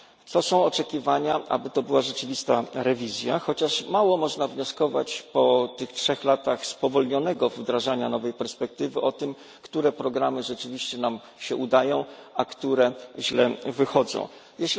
To są oczekiwania, aby to była rzeczywista rewizja, chociaż mało można wnioskować po tych trzech latach spowolnionego wdrażania nowej perspektywy o tym, które programy rzeczywiście nam się udają, a które wychodzą źle.